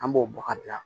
An b'o bɔ ka bila